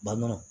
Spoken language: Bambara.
Balimaw